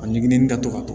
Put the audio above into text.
A ɲiginni da to ka